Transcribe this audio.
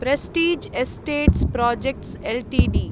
Prestige Estates Projects Ltd